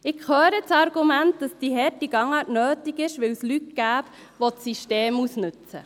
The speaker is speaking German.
Ich höre das Argument, dass diese harte Gangart nötig sei, weil es Leute gebe, die das System ausnutzten.